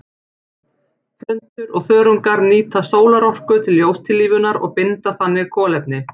Plöntur og þörungar nýta sólarorka til ljóstillífunar og binda þannig kolefni.